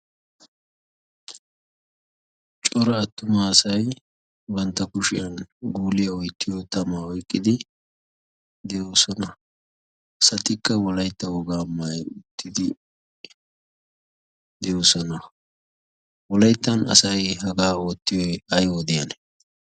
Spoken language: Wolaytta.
cora attuma asai bantta kushiyan guuliyaa oyttiyo tamaa oyqqidi de'oosona satikka wolaytta wogaa maayyi uttidi doosona wolayttan asay hagaa oottiyo ay wodiyane